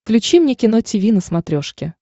включи мне кино тиви на смотрешке